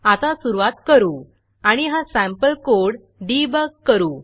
आता सुरूवात करू आणि हा सँपल कोड debugडेबॉग करू